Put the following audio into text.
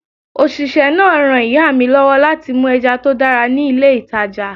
Òṣìṣẹ́ náà ran ìyá mi lọ́wọ́ láti mú ẹja tó dára ní ilé ìtàjà.